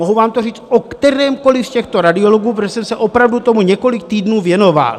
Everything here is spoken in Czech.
Mohu vám to říct o kterémkoli z těchto radiologů, protože jsem se opravdu tomu několik týdnů věnoval.